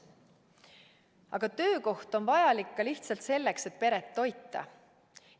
Aga töökoht on vajalik ka lihtsalt selleks, et peret toita.